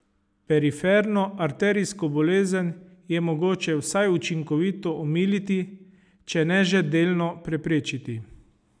Periferno arterijsko bolezen je mogoče vsaj učinkovito omiliti, če ne že delno preprečiti.